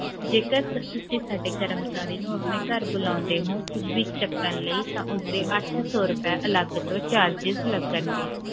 ਜੀ sir ਤੁਸੀਂ ਸਾਡੇ ਕਰਮਚਾਰੀ ਨੂੰ ਆਪਣੇ ਘਰ ਬੁਲਾਉਂਦੇ ਹੋ ਕੁਛ ਵੀ ਛੱਕਣ ਲਈ ਤਾਂ ਓਹਦੇ ਅੱਠ ਸੌ ਰੁਪਏ charges ਅਲਗ ਤੋਂ ਲੱਗਣਗੇ